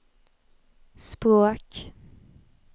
språk